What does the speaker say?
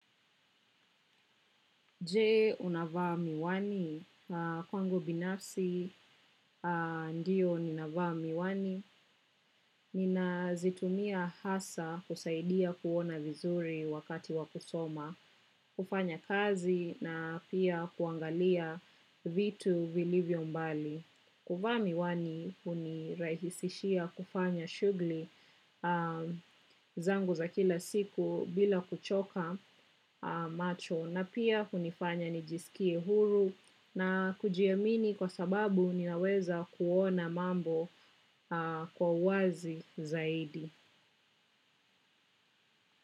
Je unavaa miwani, kwangu binafsi ndio ninavaa miwani, nina zitumia hasa kusaidia kuona vizuri wakati wakusoma, kufanya kazi na pia kuangalia vitu vilivyo mbali. Kuvaa miwani unirahisishia kufanya shugli zangu za kila siku bila kuchoka macho na pia unifanya nijisikie huru na kujiamini kwa sababu ninaweza kuona mambo kwa huwazi zaidi.